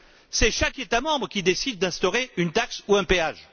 C'est chaque État membre qui décide d'instaurer une taxe ou un péage.